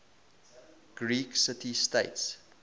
greek city states